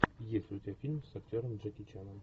есть ли у тебя фильм с актером джеки чаном